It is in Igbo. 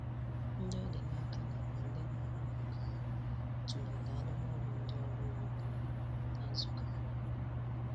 Ndị ọ dị n'aka nakwa ndị na-ahụ maka ya tụlere arụmọrụ ụdị ọrụ ugbo niile na nzukọ ahụ.